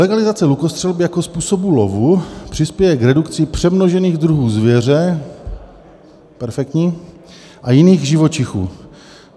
"Legalizace lukostřelby jako způsobu lovu přispěje k redukci přemnožených druhů zvěře" - perfektní - "a jiných živočichů."